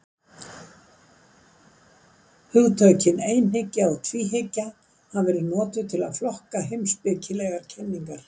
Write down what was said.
Hugtökin einhyggja og tvíhyggja hafa verið notuð til að flokka heimspekilegar kenningar.